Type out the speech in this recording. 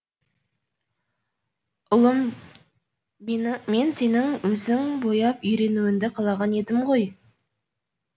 ұлым мен сенің өзің бояп үйренуіңді қалаған едім ғой